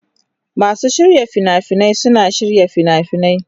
Masu shirya fina-finai suna shirya fina-finai.